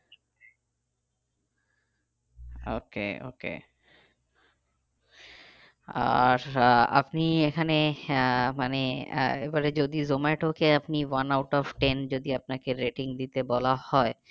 Okay okay আর আহ আপনি এখানে আহ মানে আহ এবারে যদি জোমাটোকে আপনি one out of ten আপনাকে rating দিতে বলা হয়